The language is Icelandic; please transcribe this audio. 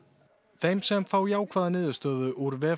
þeim sem fá jákvæða niðurstöðu úr